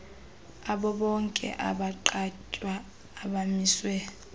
abobonke abagqatswa abamiswe